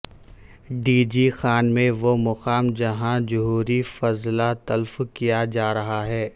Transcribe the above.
D G Khan میں وہ مقام جہاں جوہری فضلہ تلف کیا جارہا ہے